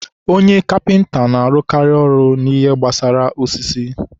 onye kapịnta na-arụkarị ihe gbasara osisi.